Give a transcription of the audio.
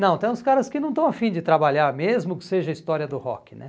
Não, tem uns caras que não estão afim de trabalhar, mesmo que seja a história do rock, né?